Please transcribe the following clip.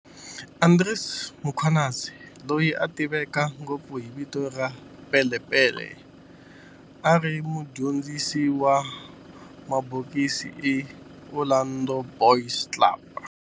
Andries Mkhwanazi, loyi a tiveka ngopfu hi vito ra Pele Pele, a ri mudyondzisi wa mabokisi eka Orlando Boys Club.